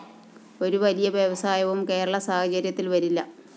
ഒരു വലിയ വ്യവസായവും കേരള സാഹചര്യത്തില്‍ വരില്ല